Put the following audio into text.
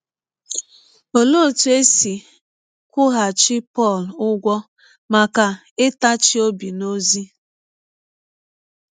Ọlee ọtụ e si kwụghachi Pọl ụgwọ maka ịtachi ọbi n’ọzi?